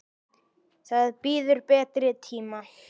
Það bíður betri tíma.